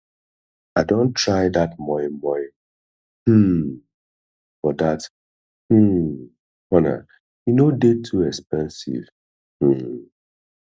i don try dat moi moi um for dat um corner e no dey too expensive um